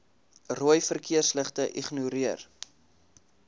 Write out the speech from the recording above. rooi verkeersligte ignoreer